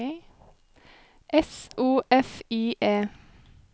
S O F I E